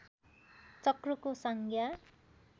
चक्रको संज्ञा